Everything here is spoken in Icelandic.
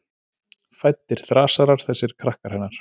Fæddir þrasarar, þessir krakkar hennar.